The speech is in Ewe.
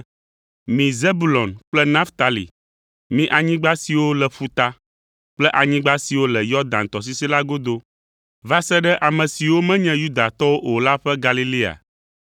“Mi Zebulon kple Naftali, mi anyigba siwo le ƒuta, kple anyigba siwo le Yɔdan tɔsisi la godo, va se ɖe ame siwo menye Yudatɔwo o la ƒe Galilea,